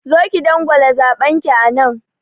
Zo ki dangwala zaɓen ki anan!